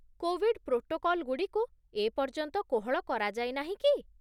Covid ପ୍ରୋଟୋକଲଗୁଡ଼ିକୁ ଏପର୍ଯ୍ୟନ୍ତ କୋହଳ କରାଯାଇନାହିଁ କି?